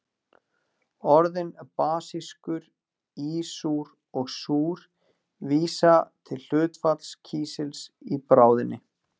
Orðin basískur, ísúr og súr vísa til hlutfalls kísils í bráðinni.